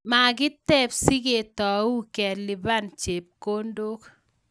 Makiteb siketou keliban chepkondok chotok.